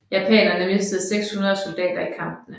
Japanerne mistede 600 soldater i kampene